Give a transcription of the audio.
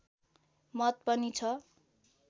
मत पनि छ